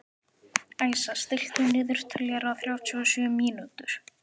Æsa, stilltu niðurteljara á þrjátíu og sjö mínútur.